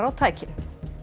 á tækin